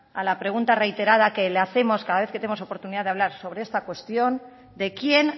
a la pregunta reiterada que le hacemos cada vez que tenemos oportunidad de hablar sobre esta cuestión de quién